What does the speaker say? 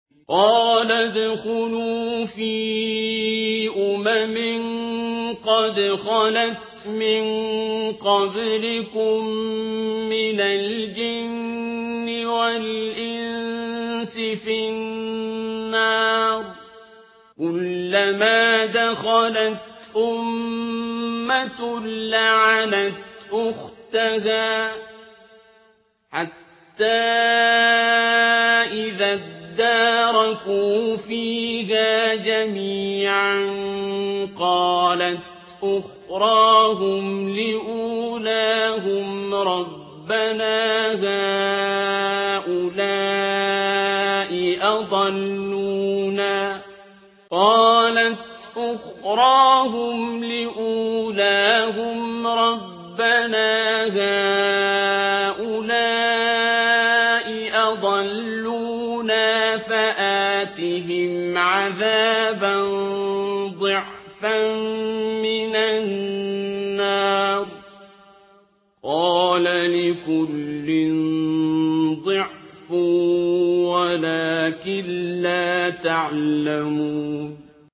قَالَ ادْخُلُوا فِي أُمَمٍ قَدْ خَلَتْ مِن قَبْلِكُم مِّنَ الْجِنِّ وَالْإِنسِ فِي النَّارِ ۖ كُلَّمَا دَخَلَتْ أُمَّةٌ لَّعَنَتْ أُخْتَهَا ۖ حَتَّىٰ إِذَا ادَّارَكُوا فِيهَا جَمِيعًا قَالَتْ أُخْرَاهُمْ لِأُولَاهُمْ رَبَّنَا هَٰؤُلَاءِ أَضَلُّونَا فَآتِهِمْ عَذَابًا ضِعْفًا مِّنَ النَّارِ ۖ قَالَ لِكُلٍّ ضِعْفٌ وَلَٰكِن لَّا تَعْلَمُونَ